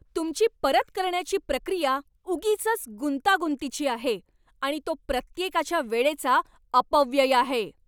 तुमची परत करण्याची प्रक्रिया उगीचच गुंतागुंतीची आहे आणि तो प्रत्येकाच्या वेळेचा अपव्यय आहे.